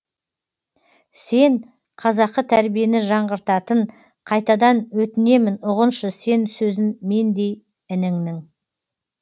сен қазақы тәрбиені жаңғыртатын қайтадан өтінемін ұғыншы сен сөзін мендей ініңнің